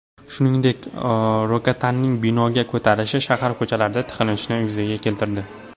Shuningdek, Rogataning binoga ko‘tarilishi shahar ko‘chalarida tiqilinchni yuzaga keltirdi.